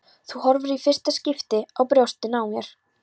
Þú horfir í fyrsta skipti á brjóstin á mér.